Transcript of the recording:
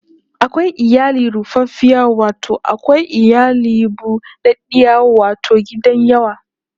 Akwai iyali rufaffiya wato akwai iyali bu ɗaɗɗiya wato gidan yawa